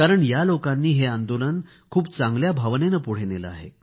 या लोकांनी हे आंदोलन खूप चांगल्या भावनेने पुढे नेले आहे